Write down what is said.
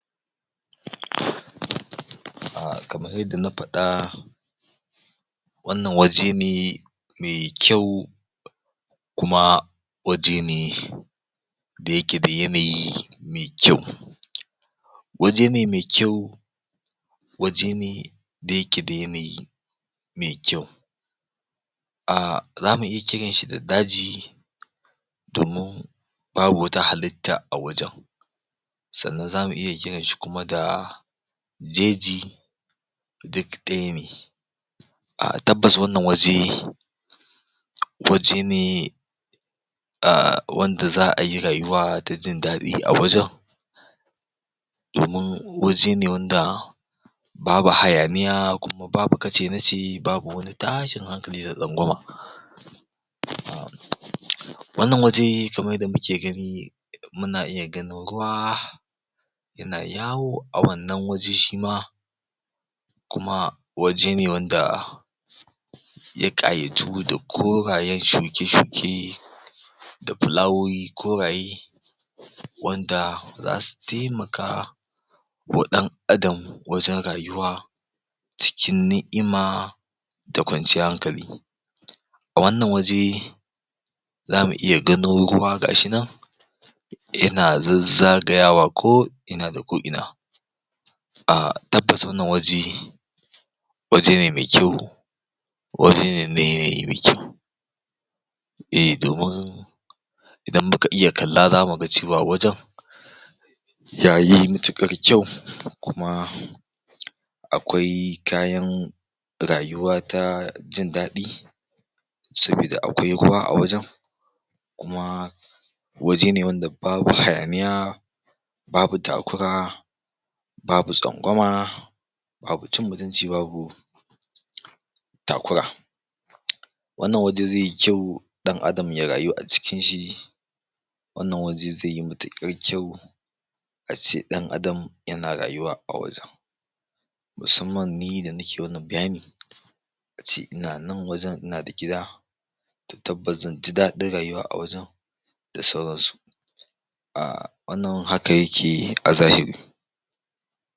um kamar yanda na faɗa wannan waje ne me kyau kuma waje ne da yake da yanayi me kyau waje ne me kyau waje ne da yake da yanayi me kyau um zamu iya kiran shi da daji domin babu wata halitta a wajen sannan zamu iya kiran shi kuma da jeji duk ɗaya ne um tabbas wannan waje waje ne um wanda za'a yi rayuwa ta jin daɗi a wajen domin waje ne wanda babu hayaniya kuma babu kace na ce babu wani tashin hankali da tsangwama wannan waje kamar yadda muke gani muna iya ganin ruwa yana yawo a wannan waje shi ma kuma waje ne wanda ya ƙayatu da korayen shuke-shuke da filawowi koraye wanda zasu temaka wa ɗan Adam wajen rayuwa cikin ni'ima da kwanciyar hankali wannan waje zamu iya ganin ruwa ga shi nan yana zazzagayawa ko ina da ko ina um tabbas wannan waje waje ne me kyau waje ne me eh domin idan muka iya kalla zamu ga cewa wajen yayi matuƙar kyau kuma akwai kayan rayuwa ta jin daɗi sabida akwai ruwa a wajen kuma waje ne wanda babu hayaniya babu takura babu tsangwama babu cin mutunci babu takura wannan waje ze yi kyau ɗan Adam ya rayu a cikin shi wannan waje ze yi matuƙar kyau a ce ɗan Adam yana rayuwa a wajen musamman ni da nike wannan bayani ace ina nan wajen ina da gida tabbas zan ji daɗin rayuwa a wajen da sauran su um wannan haka yake a zahiri